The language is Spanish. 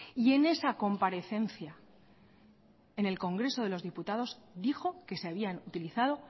y en esa comparecencia en el congreso de los diputados dijo que se habían utilizado